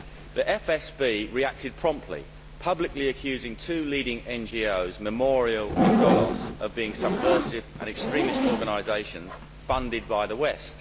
The FSB reacted promptly, publicly accusing two leading NGOs Memorial and Golos of being subversive and extremist organisations funded by the West.